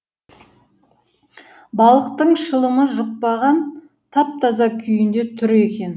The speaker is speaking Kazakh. балықтың шылымы жұқпаған тап таза күйінде тұр екен